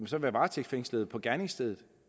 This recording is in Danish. så være varetægtsfængslet på gerningsstedet